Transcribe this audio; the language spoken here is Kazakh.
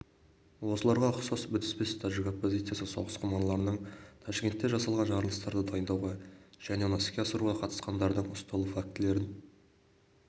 осыларға ұқсас бітіспес тәжік оппозициясы соғысқұмарларының ташкентте жасалған жарылыстарды дайындауға және оны іске асыруға қатысқандардың ұсталу фактілерін